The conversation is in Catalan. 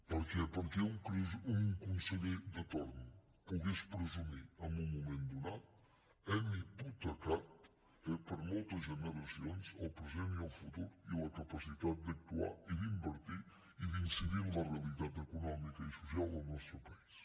perquè perquè un conseller de torn pogués presumir en un moment donat hem hipotecat eh per a moltes generacions el present i el futur i la capacitat d’actuar i d’invertir i d’incidir en la realitat econòmica i social del nostre país